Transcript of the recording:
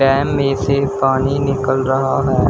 Dam में से पानी निकल रहा है।